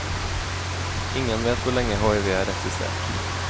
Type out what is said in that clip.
Ingen vet hvor lenge hiv har eksistert.